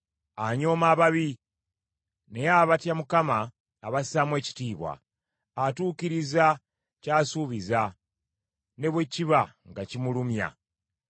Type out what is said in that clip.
Anyooma ababi, naye abatya Mukama abassaamu ekitiibwa. Atuukiriza ky’asuubiza ne bwe kiba nga kimulumya.